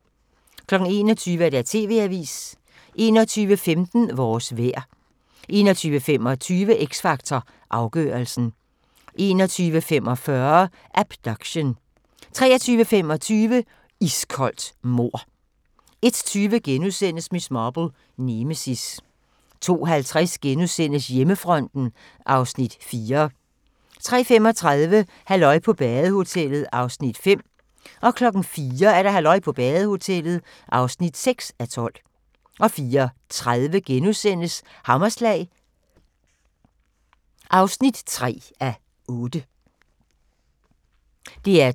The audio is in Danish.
21:00: TV-avisen 21:15: Vores vejr 21:25: X Factor Afgørelsen 21:45: Abduction 23:25: Iskoldt mord 01:20: Miss Marple: Nemesis * 02:50: Hjemmefronten (Afs. 4)* 03:35: Halløj på badehotellet (5:12) 04:00: Halløj på badehotellet (6:12) 04:30: Hammerslag (3:8)*